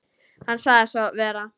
Hann sagði svo vera.